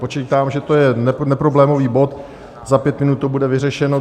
Počítám, že to je neproblémový bod, za pět minut to bude vyřešeno.